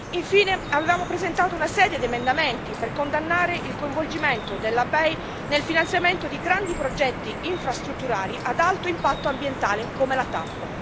Infine, avevamo presentato una serie di emendamenti per condannare il coinvolgimento della BEI nel finanziamento di grandi progetti infrastrutturali ad alto impatto ambientale, come la TAP.